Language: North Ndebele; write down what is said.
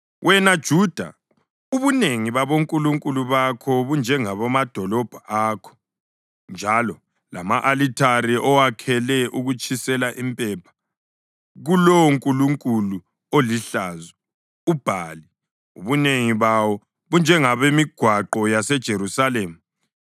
Wena Juda ubunengi babonkulunkulu bakho bunjengobamadolobho akho, njalo lama-alithare owakhele ukutshisela impepha kulowonkulunkulu olihlazo, uBhali, ubunengi bawo bunjengobemigwaqo yaseJerusalema.’